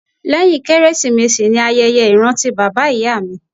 Lẹ́yìn Kérésìmesì ni ayẹyẹ ìrántí bàbá ìyá mi